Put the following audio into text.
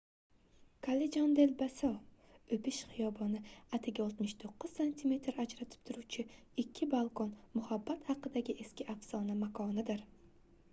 callejon del beso o'pish hiyoboni. atigi 69 santimetr ajratib turuvchi ikki balkon muhabbat haqidagi eski afsona makonidir